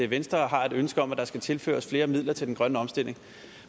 venstre har et ønske om at der skal tilføres flere midler til den grønne omstilling